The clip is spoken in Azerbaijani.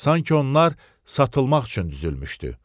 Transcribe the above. Sanki onlar satılmaq üçün düzülmüşdü.